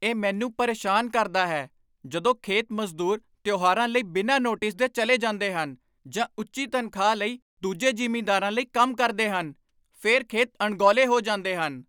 ਇਹ ਮੈਨੂੰ ਪਰੇਸ਼ਾਨ ਕਰਦਾ ਹੈ ਜਦੋਂ ਖੇਤ ਮਜ਼ਦੂਰ ਤਿਉਹਾਰਾਂ ਲਈ ਬਿਨਾਂ ਨੋਟਿਸ ਦੇ ਚਲੇ ਜਾਂਦੇ ਹਨ ਜਾਂ ਉੱਚੀ ਤਨਖ਼ਾਹ ਲਈ ਦੂਜੇ ਜ਼ਿਮੀਦਾਰਾਂ ਲਈ ਕੰਮ ਕਰਦੇ ਹਨ। ਫਿਰ ਖੇਤ ਅਣਗੌਲੇ ਹੋ ਜਾਂਦੇ ਹਨ।